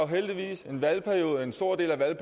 heldigvis en stor del af